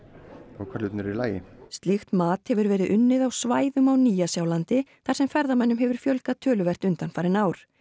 og hvar hlutirnir eru í lagi slíkt mat hefur verið unnið á svæðum á Nýja Sjálandi þar sem ferðamönnum hefur fjölgað töluvert undanfarin ár